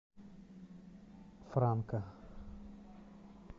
франка